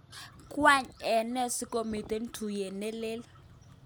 Kwang ene sikomiten tuyet ne lee?